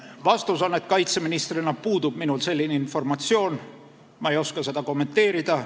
Vastus on, et kaitseministrina minul selline informatsioon puudub, ma ei oska seda kommenteerida.